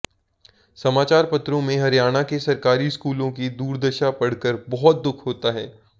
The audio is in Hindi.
समाचारपत्रों में हरियाणा के सरकारी स्कूलों की दुर्दशा पढ़कर बहुत दुख होता है